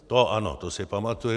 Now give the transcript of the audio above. To ano, to si pamatuji.